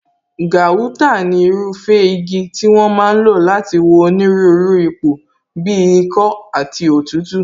Gauta ni irúfẹ́ igi tí wón ń lò láti wo onírúurú ipò bíi ikọ́ àti òtútù